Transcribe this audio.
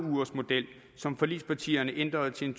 ugersmodel som forligspartierne ændrede til en